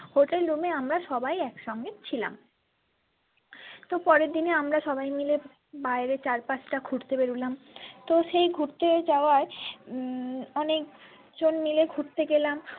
hotelroom এ সবাই একসঙ্গে ছিলাম তো পরের দিনে আমরা সবাই মিলে বাইরে চারপাশটা ঘুরতে বেরোলাম তো সেই ঘুরতে যাওয়াই উম অনেকজন মিলে ঘুরতে গেলাম।